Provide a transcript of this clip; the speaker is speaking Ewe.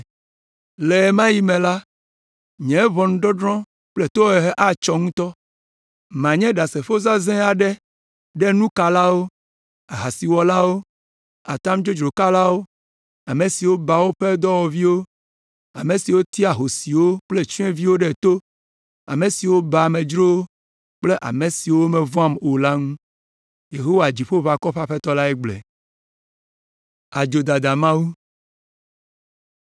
“Le ɣe ma ɣi me la, nye ʋɔnudɔdrɔ̃ kple tohehe atsɔ ŋutɔ. Manye ɖasefo zazɛ̃ aɖe ɖe nukalawo, ahasiwɔlawo, atam dzodzro kalawo, ame siwo baa woƒe dɔwɔviwo, ame siwo tea ahosiwo kple tsyɔ̃eviwo ɖe to, ame siwo baa amedzrowo kple ame siwo mevɔ̃am o la ŋu.” Yehowa Dziƒoʋakɔwo ƒe Aƒetɔ lae gblɔe.